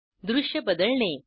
दृश्य बदलणे